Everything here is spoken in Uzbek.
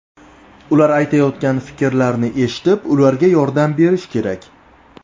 Ular aytayotgan fikrlarni eshitib, ularga yordam berish kerak.